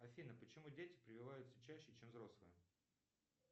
афина почему дети прививаются чаще чем взрослые